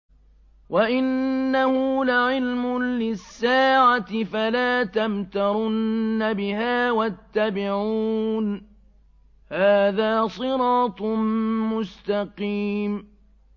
وَإِنَّهُ لَعِلْمٌ لِّلسَّاعَةِ فَلَا تَمْتَرُنَّ بِهَا وَاتَّبِعُونِ ۚ هَٰذَا صِرَاطٌ مُّسْتَقِيمٌ